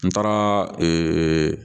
N taara